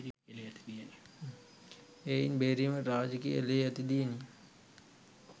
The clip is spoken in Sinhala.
එයින් බේරීමට රාජකීය ලේ ඇති දියණිය